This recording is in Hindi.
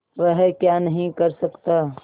वह क्या नहीं कर सकता